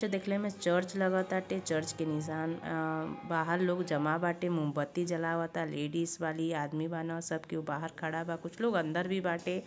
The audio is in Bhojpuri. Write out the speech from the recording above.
इ त देखले में चर्च लागताटे चर्च के निशान आ बाहर लोग जमा बाटे मोमबती जलावता लेडीज बाली आदमी बाना सब केहू बाहर खड़ा बा कुछ लोग अंदर भी बाटे।